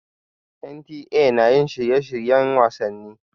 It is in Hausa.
NTA na yin shirye-shiryen wasanni.